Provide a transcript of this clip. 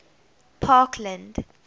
parkland